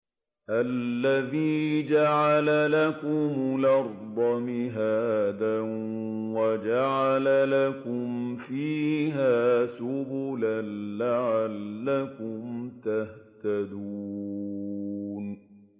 الَّذِي جَعَلَ لَكُمُ الْأَرْضَ مَهْدًا وَجَعَلَ لَكُمْ فِيهَا سُبُلًا لَّعَلَّكُمْ تَهْتَدُونَ